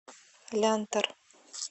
лянтор